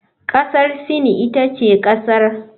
Kasar Sin ita ce kasar.